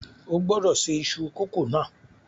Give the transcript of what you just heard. O gbọ́dọ̀ ṣe iṣu kókò náà